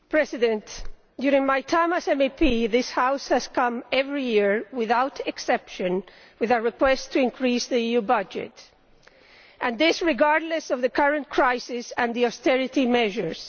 Mr President, during my time as an MEP, this House has come every year, without exception, with a request to increase the EU budget and this, regardless of the current crisis and the austerity measures.